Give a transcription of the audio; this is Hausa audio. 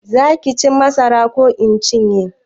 Za ki ci masarar ko in cinye?